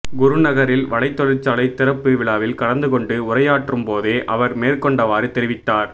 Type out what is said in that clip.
குருநகரில் வலைத் தொழிற்சாலை திறப்பு விழாவில் கலந்துகொண்டு உரையாற்றும் போதே அவர் மேற்கண்டவாறு தெரிவித்தார்